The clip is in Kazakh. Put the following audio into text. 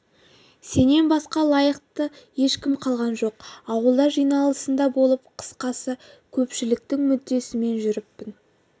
сенен басқа лайықты ешкім қалған жоқ ауылда жиналысында болып қысқасы көпшіліктің мүддесімен жүріппін